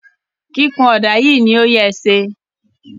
kikun oda yii ni oye ṣe.